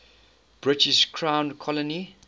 british crown colony